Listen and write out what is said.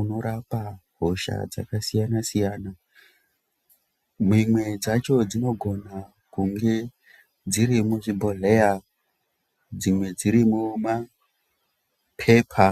unorapa hosha dzakasiyana-siyana mimwe dzacho dzinogona kunge dziri muzvibhodhleya ,dzimwe dziri mumapepa.